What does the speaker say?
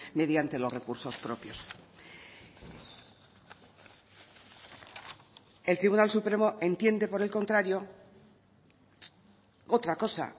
mediante los recursos propios el tribunal supremo entiende por el contrario otra cosa